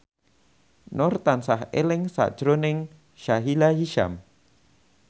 Nur tansah eling sakjroning Sahila Hisyam